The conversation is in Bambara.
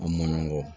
An man ɲɔgɔn kɔ